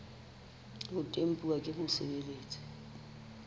le ho tempuwa ke mosebeletsi